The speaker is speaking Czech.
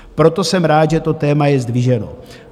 Proto jsem rád, že to téma je zdviženo.